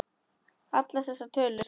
Allar þessar tölur.